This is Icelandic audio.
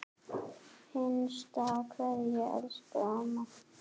HINSTA KVEÐA Elsku amma.